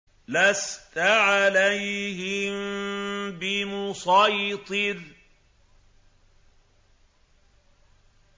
لَّسْتَ عَلَيْهِم بِمُصَيْطِرٍ